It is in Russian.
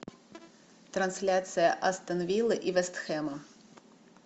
трансляция астон виллы и вест хэма